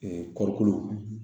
kɔɔrikolo